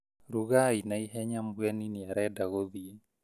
Rugai na ihenya mũgeni nĩarenda gũthiĩ